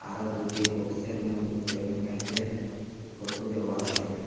আঃ দুইটি বক্সে র মইদ্যে মেয়েদের ফটু দেওয়া আসে ।